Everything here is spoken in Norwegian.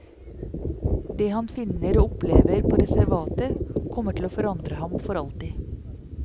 Det han finner og opplever på reservatet, kommer til å forandre ham for alltid.